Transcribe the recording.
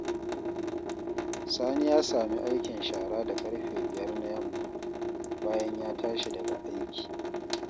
Sani ya sami aikin shara da ƙarfe 5 na yamma, bayan ya tashi daga aiki.